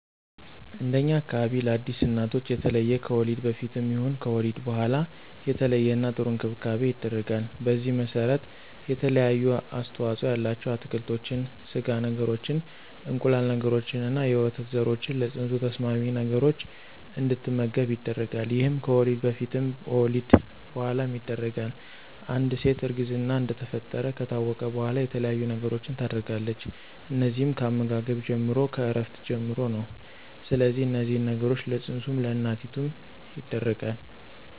እንደኛ አካባቢ ለአዲስ እናቶች የተለየ ከወሊድ በፊትም ይሁን ከወሊድ በኋላ የተለየና ጥሩ እንክብካቤ ይደረጋል። በዚህም መሰረት የተለያዩ አስተዋፅኦ ያላቸው አትክልቶችን፣ ስጋ ነገሮችን፣ እንቁላል ነገሮችንና የወተት ዘሮችን ለፅንሱ ተስማሚ ነገሮች እንድትመገብ ይደረጋል ይሄም ከወሊድ በፊትም በወሊድ በኋላም ይደረጋል፣ አንድ ሴት እርግዝና እንደተፈጠረ ከታወቀ በኋላ የተለያየ ነገሮችን ታደርጋለች እነዚህም ከአመጋገብ ጀምሮ፣ ከእረፍት ጀምሮ ነው ስለዚህ እነዚህን ነገሮች ለፅንሱም ለእናቲቱም ይደረጋል።